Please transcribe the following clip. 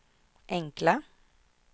enkla